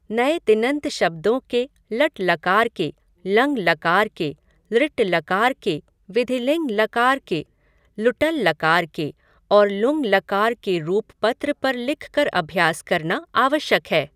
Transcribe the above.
नए तिङन्त शब्दों के लट्लकार के, लङ्लकार के, लृट्लकार के, विधिलिङ्लकार के, लुट्लकार के और लुङ्लकार के रूप पत्र पर लिखकर अभ्यास करना आवश्यक है।